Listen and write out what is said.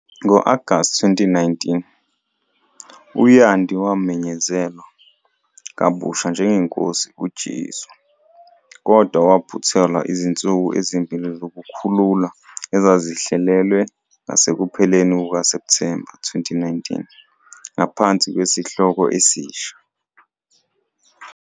Ngo-Agasti 2019, u- "Yandhi wamenyezelwa" kabusha njengeNkosi "uJesu", kodwa waphuthelwa izinsuku ezimbili zokukhululwa ezazihlelelwe ngasekupheleni kukaSepthemba 2019 ngaphansi kwesihloko esisha.